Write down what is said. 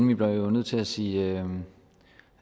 vi blev nødt til at sige